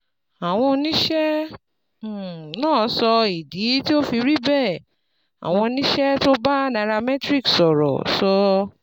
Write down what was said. Àwọn oníṣẹ́ um náà sọ ìdí tó fi rí bẹ́ẹ̀: Àwọn oníṣẹ́ tó bá Nairametrics sọ̀rọ̀ sọ